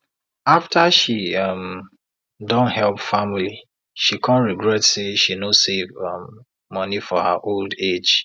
after she um don help family she come regret say she no save um monie for her old age